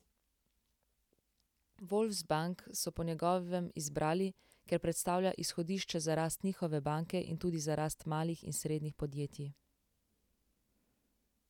Volksbank so po njegovem izbrali, ker predstavlja izhodišče za rast njihove banke in tudi za rast malih in srednjih podjetij.